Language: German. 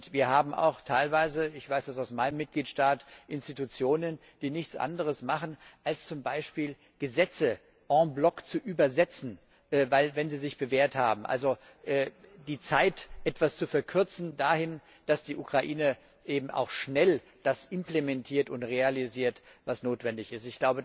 Wir haben auch teilweise ich weiß das aus meinem Mitgliedstaat Institutionen, die nichts anderes machen, als zum Beispiel Gesetze en bloc zu übersetzen, wenn sie sich bewährt haben also die Zeit etwas zu verkürzen dahin, dass die Ukraine eben auch schnell das implementiert und realisiert, was notwendig ist.